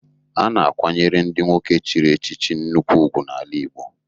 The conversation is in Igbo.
A na-akwanyere ndị nwoke chiri echichi nnukwu ugwu n'ala Igbo.